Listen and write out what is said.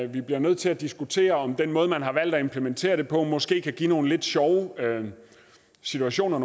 vi bliver nødt til at diskutere om den måde man har valgt at implementere det på måske kan give nogle lidt sjove situationer